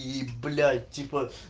и блять типо